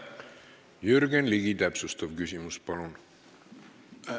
Jürgen Ligi, täpsustav küsimus, palun!